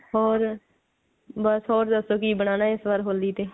ਹੋਰ ਬਸ ਹੋਰ ਦਸੋ ਕਿ ਬਨਾਣਾ ਇਸ ਵਾਰ ਹੋਲੀ ਤੇ